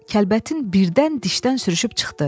Kəlbətin birdən dişdən sürüşüb çıxdı.